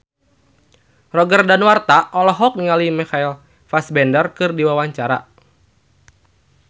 Roger Danuarta olohok ningali Michael Fassbender keur diwawancara